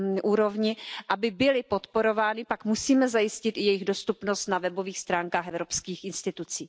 úrovni, aby byly podporovány, pak musíme zajistit i jejich dostupnost na webových stránkách evropských institucí.